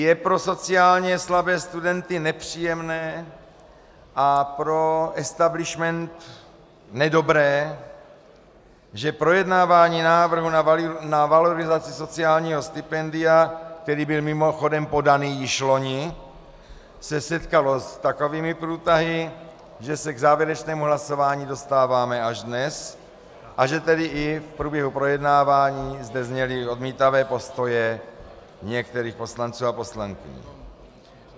Je pro sociálně slabé studenty nepříjemné a pro establishment nedobré, že projednávání návrhu na valorizaci sociálního stipendia, který byl mimochodem podaný již loni, se setkalo s takovými průtahy, že se k závěrečnému hlasování dostáváme až dnes, a že tedy i v průběhu projednávání zde zněly odmítavé postoje některých poslanců a poslankyň.